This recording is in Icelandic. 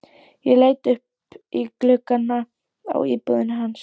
Ég leit upp í gluggana á íbúðinni hans.